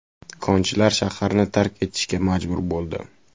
Konchilar shaharni tark etishga majbur bo‘ldi.